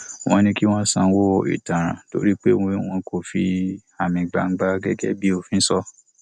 wọn ní kí wọn sanwó ìtanràn torí pé wọn kò fi àmì gbangba gẹgẹ bí òfin sọ